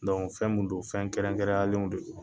fɛn mun don fɛn kɛrɛnkɛrɛnyalenw don.